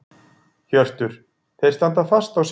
Hjörtur: Þeir standa fast á sínu?